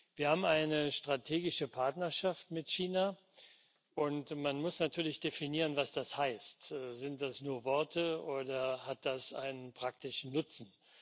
Wir haben eine strategische Partnerschaft mit China, und man muss natürlich definieren, was das heißt. Sind das nur Worte oder hat das einen praktischen Nutzen?